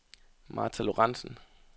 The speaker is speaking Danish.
Martha Lorentzen